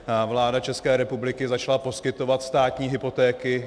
Vláda České republiky začala poskytovat státní hypotéky.